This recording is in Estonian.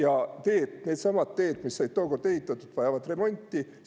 Aga needsamad teed, mis said tookord ehitatud, vajavad remonti.